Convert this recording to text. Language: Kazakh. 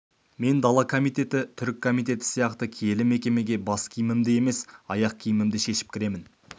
мен дала комитеті түрік комитеті сияқты киелі мекемеге бас киімімді емес аяқ киімімді шешіп кіремін